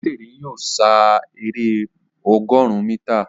Obesere yóò sá èrè ọgọrùn mítà.